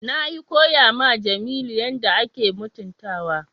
Nayi koya ma Jamilu yadda ake mutuntawa.